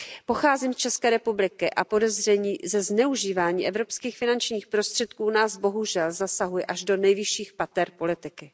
Pocházím z ČR a podezření ze zneužívání evropských finančních prostředků nás, bohužel, zasahuje až do nejvyšších pater politiky.